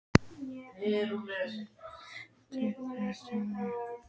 Ýmist voru einir eða tvennir gluggar á stofunni.